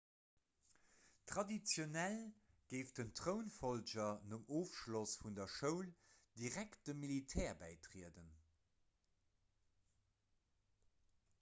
traditionell géif den trounfollger nom ofschloss vun der schoul direkt dem militär bäitrieden